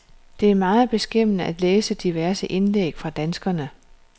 Det er meget beskæmmende at læse diverse indlæg fra danskerne.